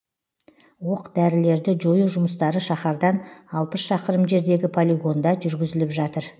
оқ дәрілерді жою жұмыстары шаһардан алпыс шақырым жердегі полигонда жүргізіліп жатыр